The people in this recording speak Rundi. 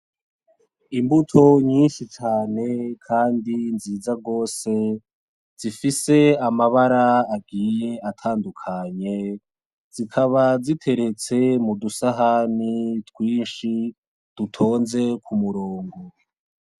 Imbuto nyinshi cane kandi nziza rwose zifise amabara agiye atandukanye zikaba ziteretse mudusahani twinshi dutonze kumurongo.